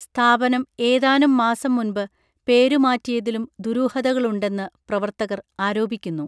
സ്ഥാപനം ഏതാനും മാസം മുൻപ് പേരുമാറ്റിയതിലും ദുരൂഹതകളുണ്ടെന്നു പ്രവർത്തകർ ആരോപിക്കുന്നു